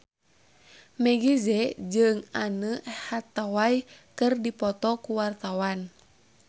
Meggie Z jeung Anne Hathaway keur dipoto ku wartawan